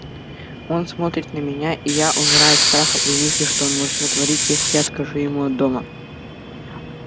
он смотрит на меня и я умираю от страха при мысли что он может натворить если я откажу ему от дома